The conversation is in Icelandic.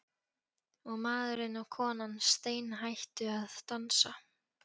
Og maðurinn og konan steinhættu að dansa.